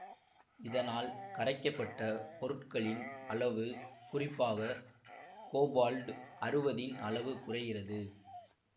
இதனால் கரைக்கப்பட்ட பொருட்களின் அளவு குறிப்பாக கோபால்ட் அறுவதின் அளவு குறைகிறது